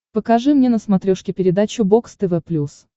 покажи мне на смотрешке передачу бокс тв плюс